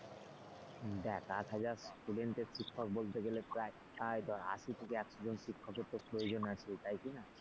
দেখ আট হাজার student এর শিক্ষক বলতে গেলে প্রায় আশি থেকে একশো জন শিক্ষকের তো প্রয়োজন আছে তাই কিনা?